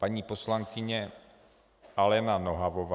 Paní poslankyně Alena Nohavová.